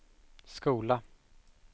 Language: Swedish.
skola